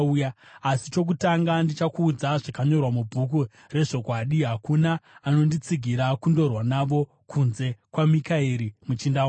asi chokutanga ndichakuudza zvakanyorwa muBhuku reZvokwadi. Hakuna anonditsigira kundorwa navo kunze kwaMikaeri, muchinda wako.